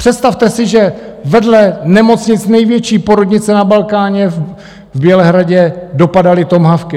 Představte si, že vedle nemocnic, největší porodnice na Balkáně, v Bělehradě dopadaly tomahawky.